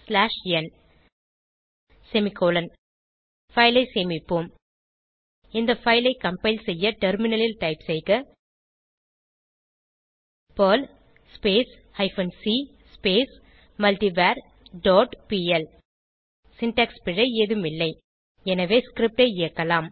slash n semicolon file ஐ சேமிப்போம் இந்த பைல் ஐ கம்பைல் செய்ய டெர்மினலில் டைப் செய்க Perl hyphen c multivar dot PL syntax பிழை ஏதும் இல்லை எனவே ஸ்கிரிப்ட் ஐ இயக்கலாம்